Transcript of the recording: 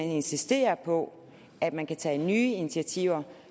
insistere på at man kan tage nye initiativer